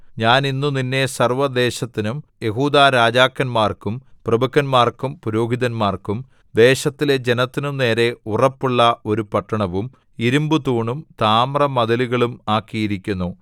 ഞാൻ ഇന്ന് നിന്നെ സർവ്വദേശത്തിനും യെഹൂദാരാജാക്കന്മാർക്കും പ്രഭുക്കന്മാർക്കും പുരോഹിതന്മാർക്കും ദേശത്തിലെ ജനത്തിനും നേരെ ഉറപ്പുള്ള ഒരു പട്ടണവും ഇരിമ്പുതൂണും താമ്രമതിലുകളും ആക്കിയിരിക്കുന്നു